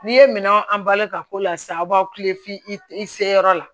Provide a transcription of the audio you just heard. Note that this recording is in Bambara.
N'i ye minɛnw an balima ka ko la sisan aw b'aw kilen f'i i i se yɔrɔ la